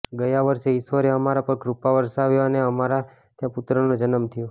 ગયા વર્ષે ઈશ્વરે અમારા પર કૃપા વરસાવી અને અમારે ત્યાં પુત્રનો જન્મ થયો